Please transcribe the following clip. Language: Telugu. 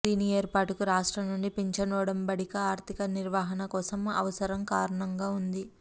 దీని ఏర్పాటుకు రాష్ట్ర నుండి పింఛను ఒడంబడిక ఆర్థిక నిర్వహణ కోసం అవసరం కారణంగా ఉంది